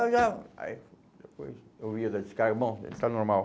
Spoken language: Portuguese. Aí depois eu ia dar descarga, bom, está normal.